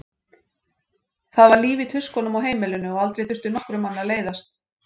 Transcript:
Það var líf í tuskunum á heimilinu og aldrei þurfti nokkrum manni að leiðast.